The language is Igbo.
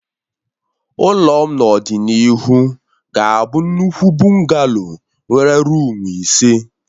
Ụlọ m n'ọdịnihu ga-abụ nnukwu bụngalo nwere ruumu ise